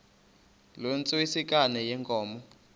loo ntsengwanekazi yenkomo